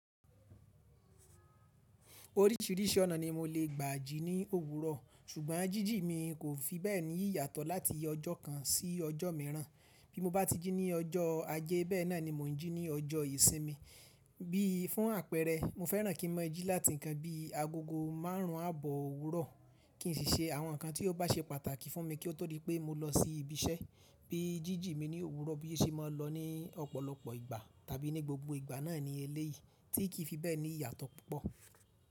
Oríṣìíríṣìí ọ̀nà ni mo lè gbà jí ní òwúrọ̀, ṣùgbọ́n jíjí mi kò fi bẹ́ẹ̀ ní yàtọ̀ láti ọjọ́ kan sí ọjọ́ mìíràn. Bí mo bá ti jí ní ọjọ́ Ajé, bẹ́ẹ̀ náà ni mo ń jí ní ọjọ́ Ìsinmi. Bí fún àpẹẹrẹ, mo fẹ́ràn kí n mọ́ jí láti ǹkan bí i agogo márùn ún àbọ̀ òwúrọ̀, kí n sì ṣe àwọn ǹkan tí ó bá ṣe pàtàkì fún mi kí ó tó di pé mo lọ sí ibi iṣẹ́. Bí jíjí mi ní òwúrọ̀ bí ó ṣe máa lọ ní ọ̀pọ̀lọpọ̀ ìgbà tàbí ní gbogbo ìgbà náà ní eléyìí, tí kì í fi bẹ́ẹ̀ ní yàtọ̀ púpọ̀.